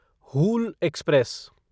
Hul express